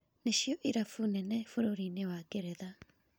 Nĩcio irabu nene bũrũri-inĩ wa Ngeretha".